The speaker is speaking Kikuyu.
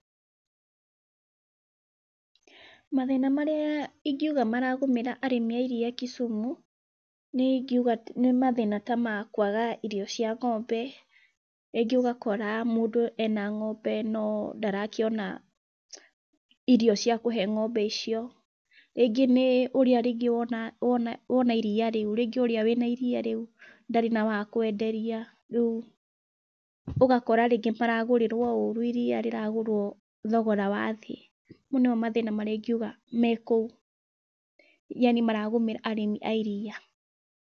Mathĩna marĩa ingiuga maragũmĩra arĩmi a iria Kisumu niĩ ingiuga nĩ mathĩna ta makwaga irio cia ng'ombe. Rĩngĩ ũgakora mũndũ ena ng'ombe no ndarakĩona irio cia kũhe ng'ombe icio. Rĩngĩ nĩ ũrĩa wona iria rĩu kana wĩna iria rĩu ndarĩ na wakwenderia, rĩu ũgakora rĩngĩ maragũrĩrwo ũru iria rĩragũrwo thogora wa thĩ. Mau nĩmo mathĩna marĩa ingiuga me kũu yaani maragũmĩra arĩmi a iria.